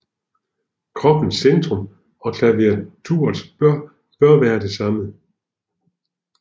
Kroppens centrum og klaviaturets bør være den samme